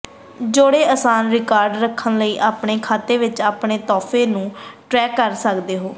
ਜੋੜੇ ਆਸਾਨ ਰਿਕਾਰਡ ਰੱਖਣ ਲਈ ਆਪਣੇ ਖਾਤੇ ਵਿਚ ਆਪਣੇ ਤੋਹਫ਼ੇ ਨੂੰ ਟਰੈਕ ਕਰ ਸਕਦੇ ਹੋ